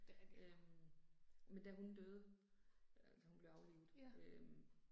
Øh. Men da hun døde, altså hun blev aflivet øh